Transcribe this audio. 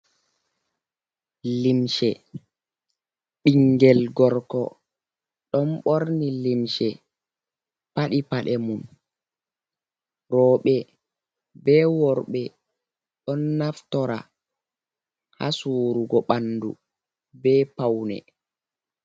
Limshe ɓingel gorko ɗon borni limshe paɗi paɗe mum rooɓe bee worɓe ɗon naftora ha suurugo ɓandu be paune